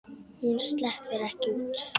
Hún sleppur ekki út.